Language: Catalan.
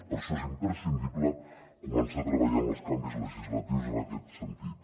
per això és imprescindible començar a treballar amb els canvis legislatius en aquest sentit